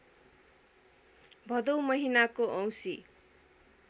भदौ महिनाको औँसी